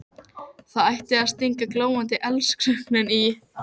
Það ætti að stinga glóandi eldskörungnum í.